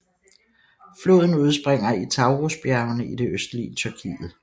Floden udspringer i Taurusbjergene i det østlige Tyrkiet